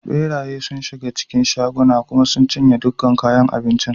Ɓeraye sun shiga cikin shago cikin shaguna kuma sun cinye dukkan kayan abincin.